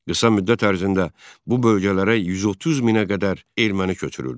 Qısa müddət ərzində bu bölgələrə 130 minə qədər erməni köçürüldü.